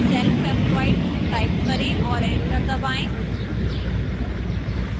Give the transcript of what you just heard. self employed type करें और enter दबाएं